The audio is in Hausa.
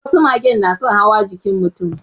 Wasu magen na son hawa jikin mutum